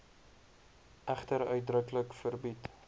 egter uitdruklik verbied